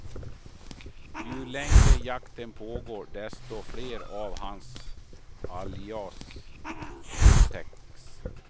Ju längre jakten pågår, desto fler av hans alias upptäcks.